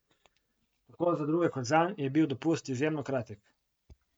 Tako za druge kot zanj je bil dopust izjemno kratek.